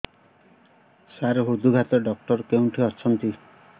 ସାର ହୃଦଘାତ ଡକ୍ଟର କେଉଁଠି ଅଛନ୍ତି